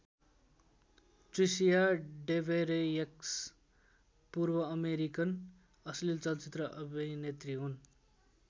Tricia Devereaux पूर्वअमेरिकन अश्लील चलचित्र अभिनेत्री हुन्।